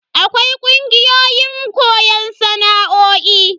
Akwai kungiyoyin koyon sana'o'i.